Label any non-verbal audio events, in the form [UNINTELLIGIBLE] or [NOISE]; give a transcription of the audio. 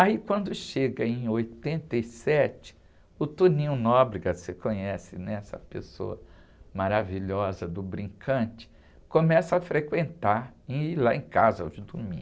Aí, quando chega em oitenta e sete, o, [UNINTELLIGIBLE] você conhece, né? Essa pessoa maravilhosa do brincante, começa a frequentar e ir lá em casa aos domingos.